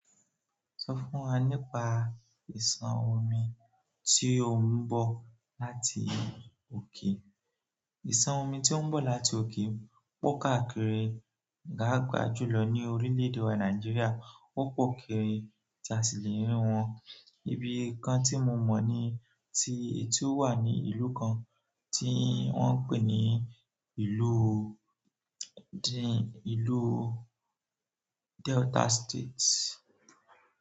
Sọ fún wa nípa ìsàn omi tí ó ń bọ̀ láti òkè. Ìsàn omi tí ó ń bọ̀ láti òkè pọ́ káàkiri paapaa julọ ní orílẹ̀ èdè wa Nàìjíríà. O pọ kiri ti a si le riwọn. Ibìkan ti mo mọ ni ti o wa ni ìlú kan ti wọn n pe ni ìlú delta state.